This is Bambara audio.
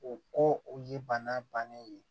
O ko o ye bana bannen ye